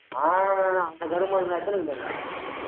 ஆஹ் அந்த கருமந்தான் எத்தனை இருக்குது அங்க